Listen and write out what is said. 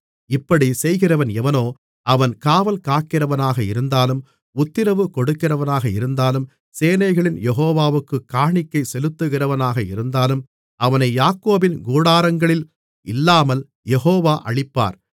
இப்படிச் செய்கிறவன் எவனோ அவன் காவல்காக்கிறவனாக இருந்தாலும் உத்திரவு கொடுக்கிறவனாக இருந்தாலும் சேனைகளின் யெகோவாவுக்குக் காணிக்கை செலுத்துகிறவனாக இருந்தாலும் அவனை யாக்கோபின் கூடாரங்களில் இல்லாமல் யெகோவா அழிப்பார்